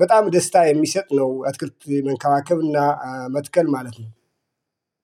በጣም ደስታ የሚሰጥ ነው። አትክልት መንከባከብና መትከል ማለት ነው